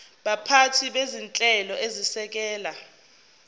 baphathi bezinhlelo ezisekela